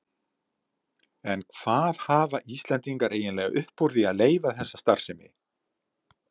En hvað hafa Íslendingar eiginlega upp úr því að leyfa þessa starfsemi?